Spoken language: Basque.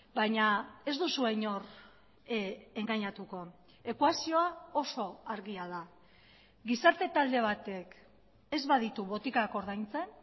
baina ez duzue inor engainatuko ekuazioa oso argia da gizarte talde batek ez baditu botikak ordaintzen